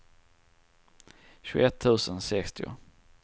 tjugoett tusen sextio